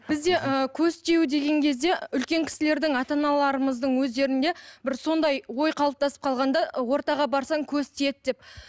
бізде ы көз тию деген кезде үлкен кісілердің ата аналарымыздың өздерінде бір сондай ой қалыптасып қалған да ы ортаға барсаң көз тиеді деп